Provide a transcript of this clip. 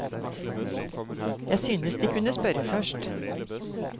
Jeg synes de kunne spørre først.